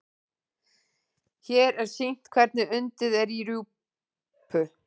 Hér er sýnt hvernig undið er í rjúpu.